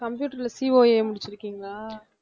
computer ல COA முடிச்சுருக்கீங்களா?